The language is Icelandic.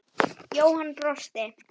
Jóhann brosti.